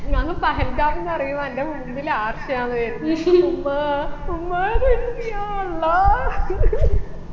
ഞാൻ പഹൽഗാമിന്ന് പറയുമ്പൊ അൻറെ മുമ്പിൽ ആർഷയാണ് വരുന്നേ ഉമ്മാ ഉമ്മാന്ന് വിളിച്ചിട്ട് യാ അള്ളാഹ്